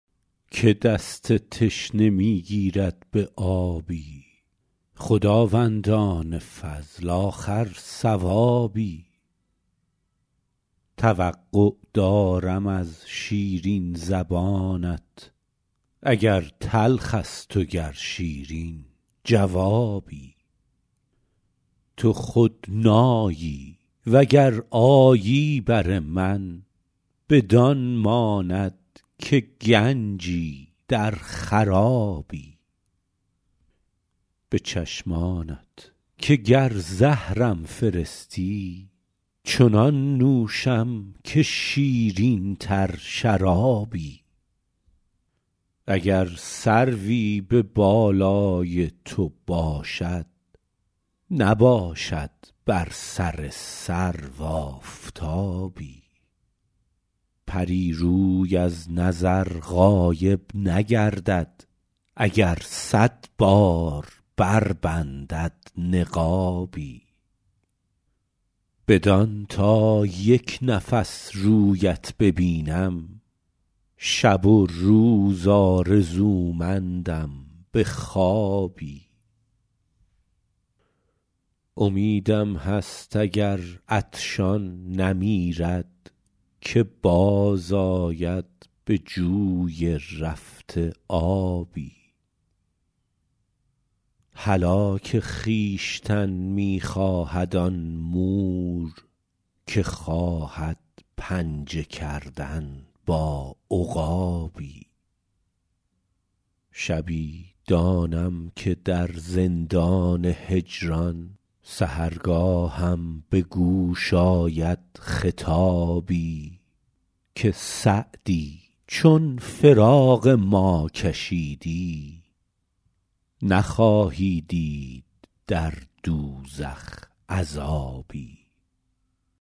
که دست تشنه می گیرد به آبی خداوندان فضل آخر ثوابی توقع دارم از شیرین زبانت اگر تلخ است و گر شیرین جوابی تو خود نایی و گر آیی بر من بدان ماند که گنجی در خرابی به چشمانت که گر زهرم فرستی چنان نوشم که شیرین تر شرابی اگر سروی به بالای تو باشد نباشد بر سر سرو آفتابی پری روی از نظر غایب نگردد اگر صد بار بربندد نقابی بدان تا یک نفس رویت ببینم شب و روز آرزومندم به خوابی امیدم هست اگر عطشان نمیرد که باز آید به جوی رفته آبی هلاک خویشتن می خواهد آن مور که خواهد پنجه کردن با عقابی شبی دانم که در زندان هجران سحرگاهم به گوش آید خطابی که سعدی چون فراق ما کشیدی نخواهی دید در دوزخ عذابی